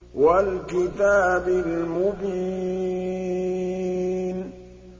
وَالْكِتَابِ الْمُبِينِ